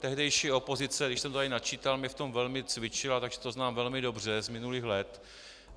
Tehdejší opozice, když jsem to tady načítal, mě v tom velmi cvičila, takže to znám velmi dobře z minulých let.